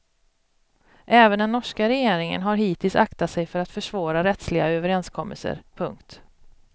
Även den norska regeringen har hittills aktat sig för att försvåra rättsliga överenskommelser. punkt